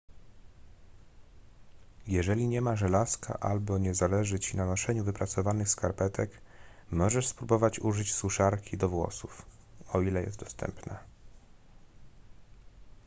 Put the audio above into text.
jeżeli nie ma żelazka albo nie zależy ci na noszeniu wyprasowanych skarpetek możesz spróbować użyć suszarki do włosów o ile jest dostępna